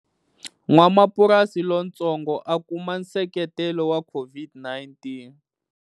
N'wamapurasi lontsongo a kuma nseketelo wa COVID-19.